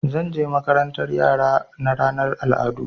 Zan je makarantar yara na ranar al'adu.